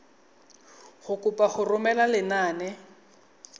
go kopa go romela lenane